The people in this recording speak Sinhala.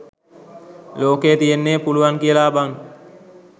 ලොකේ තියෙන්නේ පුලුවන් කියලා බන්